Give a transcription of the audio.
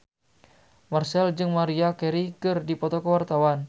Marchell jeung Maria Carey keur dipoto ku wartawan